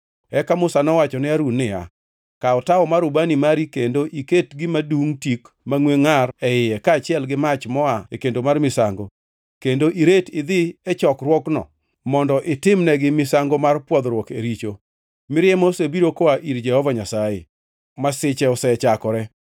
Eka Musa nowacho ne Harun niya, “Kaw tawo mar ubani mari kendo iket gima dungʼ tik mangʼwe ngʼar e iye, kaachiel gi mach moa e kendo mar misango, kendo iret idhi e chokruokno mondo itimnegi misango mar pwodhruok e richo. Mirima osebiro koa ir Jehova Nyasaye; masiche osechakore.”